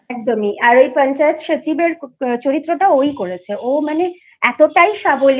একদমই আর ওই পঞ্চায়েত সচিবের চরিত্র টা ওই করেছে ওই মানে এতটাই সাবলীল